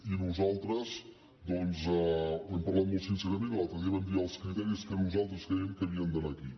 i nosaltres doncs hem parlat molt sincerament i l’altre dia vam dir els criteris que nosaltres crèiem que havien d’anar aquí